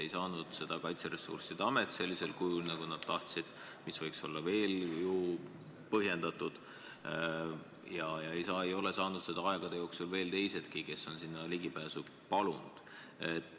Ei saanud seda luba Kaitseressursside Amet sellisel kujul, nagu nad tahtsid – mis võiks olla veel kuidagi põhjendatud –, ja ei ole seda aegade jooksul saanud teisedki, kes on ligipääsu palunud.